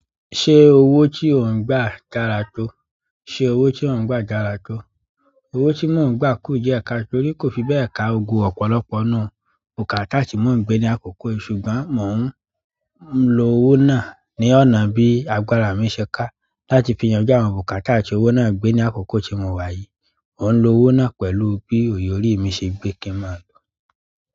Ṣé owó tí ó ń gba dára tó? Ṣé owó tí ó ń gbà dára tó? Owó tí mò ń gbà kù diẹ kaato torí kò fi bẹ́ẹ̀ ka gbogbo ọ̀pọ̀lọpọ̀ nù. Bukatá tí mò ń gbé ní àkókò yìí ṣùgbọ́n mò ń lo owó náà ní ọ̀nà bí agbára mi ṣe ká láti fi yanjú àwọn bukatá tí owó náà gbé ní àkókò tí mo wáyi. Mò ń lo owó náà pẹ̀lú bí òye òrìí mi ṣe gbé kí n máa lò.